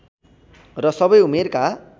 र सबै उमेरका